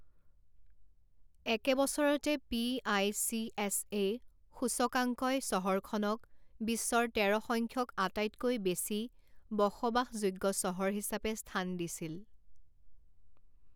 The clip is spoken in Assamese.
একে বছৰতে পি.আই.চি.এছ.এ. সূচকাংকই চহৰখনক বিশ্বৰ তেৰ সংখ্যক আটাইতকৈ বেছি বসবাসযোগ্য চহৰ হিচাপে স্থান দিছিল।